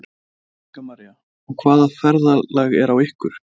Helga María: Og hvaða ferðalag er á ykkur?